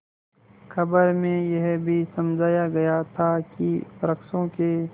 खबर में यह भी समझाया गया था कि वृक्षों के